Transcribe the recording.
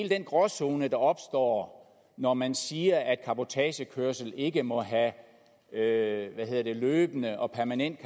den gråzone der opstår når man siger at cabotagekørsel ikke må have karakter af en løbende og permanent